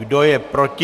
Kdo je proti?